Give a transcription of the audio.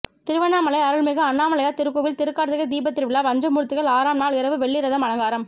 திருவண்ணாமலை அருள்மிகு அண்ணணாமலையார் திருக்கோவில் திருக்கார்த்திகை தீபத்திருவிழா பஞ்சமூர்த்திகள் ஆறாம் நாள் இரவு வெள்ளி ரதம் அலங்காரம்